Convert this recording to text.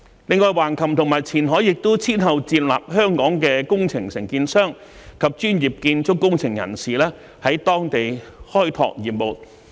另外，橫琴和前海亦先後接納香港的工程承建商及專業建築工程人士在當地開拓業務。